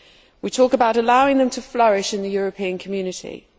we talk about allowing them to flourish in the European Union.